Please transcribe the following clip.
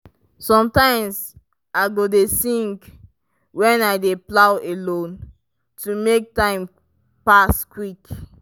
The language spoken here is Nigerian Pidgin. sometimes i go dey sing when i dey plow alone to make time pass quick.